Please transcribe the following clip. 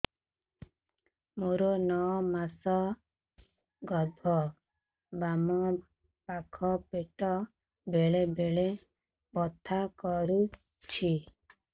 ମୋର ନଅ ମାସ ଗର୍ଭ ବାମ ପାଖ ପେଟ ବେଳେ ବେଳେ ବଥା କରୁଛି